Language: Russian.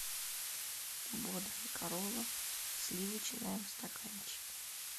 бодрая корова сливочная в стаканчике